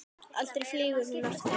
Aldrei flýgur hún aftur